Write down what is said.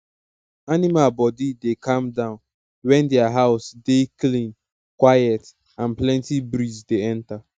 animal body dey calm down when dia house dey clean quiet and plenty breeze dey enter